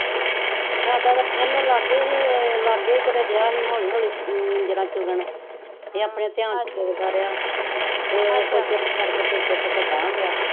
ਸਾਡਾ ਤਾ ਇਹਨੂੰ ਲਾਗੇ ਸੀ ਲਾਗੇ ਹੀ ਕਿਤੇ ਡੇਆ ਸੀ ਹੋਲੀ ਹੋਲੀ ਜੜਾਂ ਚੁਗਣ ਏਹ ਆਪਣੇ ਤੇਆਨ ਚ ਸੋਚਦਾ ਰੇਹਾ ਚੁੱਪ ਕਰ ਕੇ ਤੇ ਚੁੱਕ ਕੇ ਗਾਹਾ ਗੇਆ